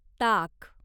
ताक